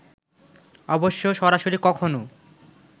অবশ্য সরাসরি কখনো